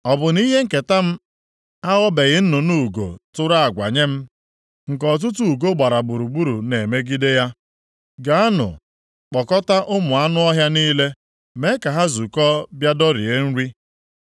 Ọ bụ na ihe nketa m aghọbeghị nnụnụ ugo tụrụ agwa nye m nke ọtụtụ ugo gbara gburugburu na-emegide ya? Gaanụ, kpọkọta ụmụ anụ ọhịa niile, mee ka ha zukọọ bịa dọrie nri.